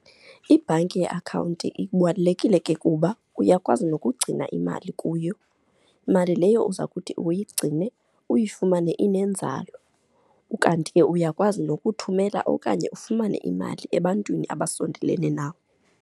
Ibhanki yeakhawunti ibalulekile ke kuba uyakwazi nokugcina imali kuyo, imali leyo uza kuthi uyigcine uyifumane inenzala, ukanti ke uyakwazi nokuthumela okanye ufumane imali ebantwini abasondelene nawe.